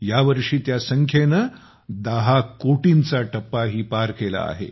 या वर्षी त्या संख्येने 10 कोटींचा टप्पाही पार केला आहे